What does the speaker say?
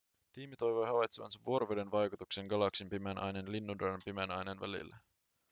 tiimi toivoi havaitsevansa vuoroveden vaikutuksia galaksin pimeän aineen ja linnunradan pimeän aineen välillä